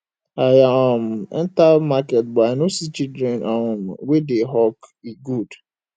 i um enter market but i no see children um wey dey hawk e good